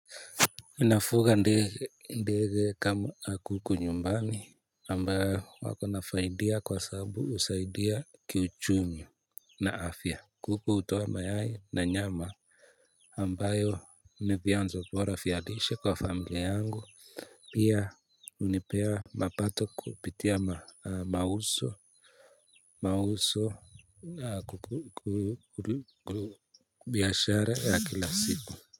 Nafuga ndege kama kuku nyumbani ambayo wako na faidia kwa sababu husaidia kiuchumi na afya kuku hutoa mayai na nyama ambayo ni vyanzo bora vya lishe kwa familia yangu pia hunipea mapato kupitia mauso mauso ya biashara ya kila siku.